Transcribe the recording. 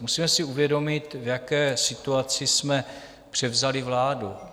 Musíme si uvědomit, v jaké situaci jsme převzali vládu.